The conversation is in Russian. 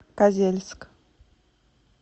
козельск